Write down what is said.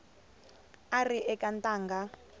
a a ri eka ntangha